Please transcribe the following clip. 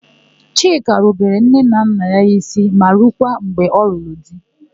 Chika rubere nne na nna ya ísí ma rukwa mgbe ọ lụrụ di.